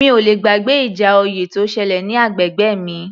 Mi ò le gbàgbé ìjà oyè tó ṣẹlẹ̀ ní agbègbè mi